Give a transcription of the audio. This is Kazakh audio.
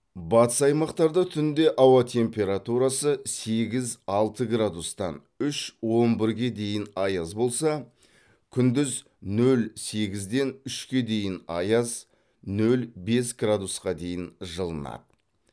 батыс аймақтарда түнде ауа температурасы сегіз алты градустан үш он бірге дейін аяз болса күндіз нөл сегізден үшке дейін аяз нөл бес градусқа дейін жылынады